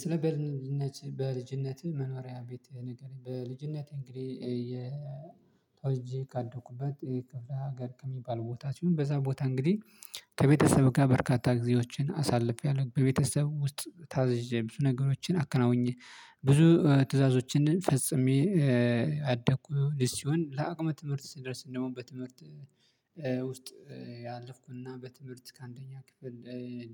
ስለ በልጅነትህ መኖሪያ ቤት ንገርን በልጅነቴ እንግዲህ ተወጄ ካደኩበት ክፍለ ሀገር ከሚባል ቦታ ሲሆን በዛ ቦታ እንግዲህ ከቤተሰብ ጋር በርካታ ጊዜዎችን አሳልፌያለሁ። በቤተሰብ ውስጥ ታዝዤ ብዙ ነገሮችን አከናውኜ ብዙ ትዕዛዞችን ፈጽሜ አደኩ ልጅ ሲሆን ለአቅመ ትምህርት ስደርስ ደግሞ በትምህርት ውስጥ ያለፍኩና በትምህርት ከአንደኛ ክፍል